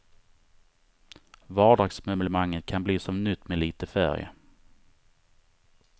Vardagsmöblemanget kan bli som nytt med lite färg.